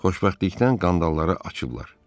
Xoşbəxtlikdən qandalları açıblar.